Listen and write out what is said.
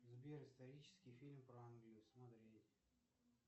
сбер исторический фильм про англию смотреть